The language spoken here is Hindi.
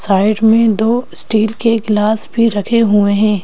साइड में दो स्टील के ग्लास भी रखे हुए हैं।